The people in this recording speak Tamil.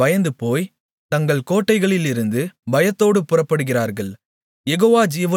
அந்நியர்கள் பயந்துபோய் தங்கள் கோட்டைகளிலிருந்து பயத்தோடு புறப்படுகிறார்கள்